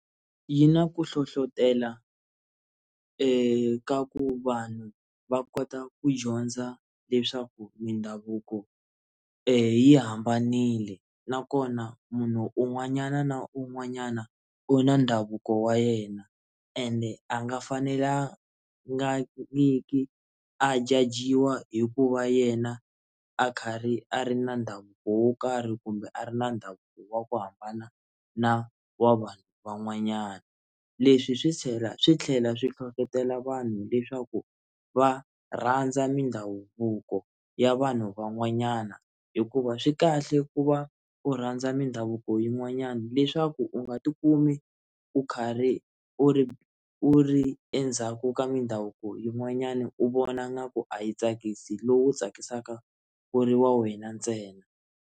Yi na ku hlohlotelo eka ku vanhu va kota ku dyondza leswaku mindhavuko yi hambanile nakona munhu un'wanyana na un'wanyana u na ndhavuko wa yena ene a nga fanelanga nyiki a jajiwa hi ku va yena a karhi a ri na ndhavuko wo karhi kumbe a ri na ndhavuko wa ku hambana na wa vanhu van'wanyana leswi swi chela swi tlhela swi hlohletela vanhu leswaku va rhandza mindhavuko ya vanhu van'wanyana hikuva swi kahle ku va u rhandza mindhavuko yin'wanyana leswaku u nga ti kumi u karhi u ri endzhaku ka mindhavuko yin'wanyani u vona nga ku a yi tsakisi lowu tsakisaka u ri wa wena ntsena.